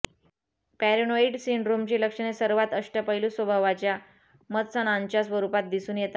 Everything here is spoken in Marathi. पॅरेनोइड सिंड्रोमची लक्षणे सर्वात अष्टपैलू स्वभावाच्या मत्सणांच्या स्वरूपात दिसून येतात